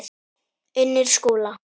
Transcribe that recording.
Unnur Skúla.